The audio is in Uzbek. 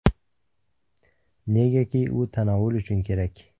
Negaki u tanovul uchun kerak.